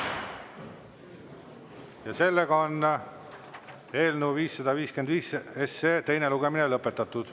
Ja sellega on eelnõu 555 teine lugemine lõpetatud.